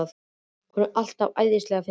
Hún er alltaf svo æðislega fyndin.